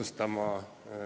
Istungi lõpp kell 13.21.